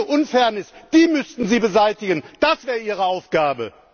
Diese Unfairness müssten Sie beseitigen, das wäre Ihre Aufgabe!